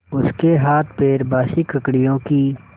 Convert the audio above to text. उसके हाथपैर बासी ककड़ियों की